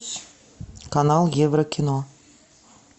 канал еврокино